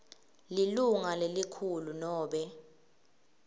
lilunga lelikhulu nobe